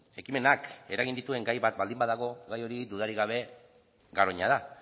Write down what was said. ekimenak eragin dituen gai bat baldin badago gai hori dudarik gabe garoña da